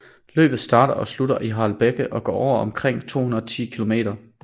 Løbet starter og slutter i Harelbeke og går over omkring 210 kilometer